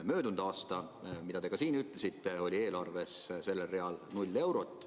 Möödunud aastal, nagu te ka siin ütlesite, oli eelarves sellel real null eurot.